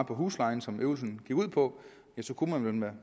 på huslejen som øvelsen gik ud på kunne man med